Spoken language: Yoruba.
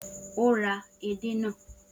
O ra édè na